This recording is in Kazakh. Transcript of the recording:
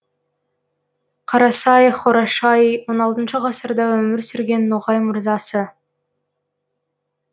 қарасай хорашай он алтыншы ғасырда өмір сүрген ноғай мырзасы